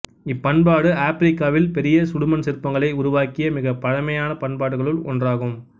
இப்பண்பாடு ஆப்பிரிக்காவில் பெரிய சுடுமண் சிற்பங்களை உருவாக்கிய மிகப்பழைய பண்பாடுகளுள் ஒன்றாகும்